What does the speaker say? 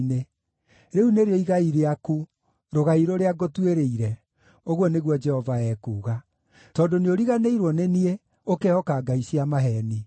Rĩu nĩrĩo igai rĩaku, rũgai rũrĩa ngũtuĩrĩire,” ũguo nĩguo Jehova ekuuga, “tondũ nĩũriganĩirwo nĩ niĩ, ũkehoka ngai cia maheeni.